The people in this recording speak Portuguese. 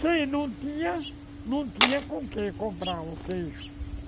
Quem não tinha, não tinha com o que comprar o queijo.